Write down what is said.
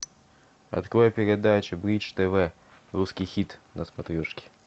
открой передачу бридж тв русский хит на смотрешке